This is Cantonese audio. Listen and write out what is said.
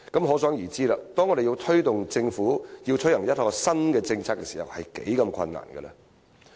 可想而知，當我們要推動政府推行一項新政策時是多麼困難。